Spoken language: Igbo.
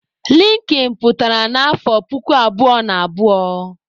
Linkin pụtara na afọ puku abụọ na abụọ